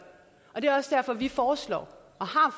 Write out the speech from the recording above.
er også derfor at vi foreslår